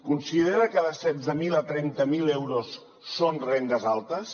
considera que de setze mil a trenta mil euros són rendes altes